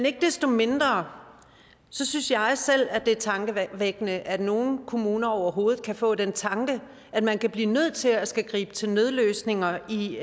ikke desto mindre synes jeg selv det er tankevækkende at nogle kommuner overhovedet kan få den tanke at man kan blive nødt til at skulle gribe til nødløsninger i